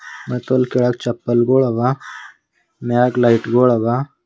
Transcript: ಮತ್ತೆ ಅಲ್ ಕೆಳಗೆ ಚಪ್ಪಲ್ ಗುಳವ ಮ್ಯಾಗ್ ಲೈಟ್ ಗುಳ್ ಅವ.